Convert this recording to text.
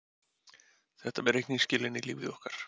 Þetta með reikningsskilin í lífi okkar.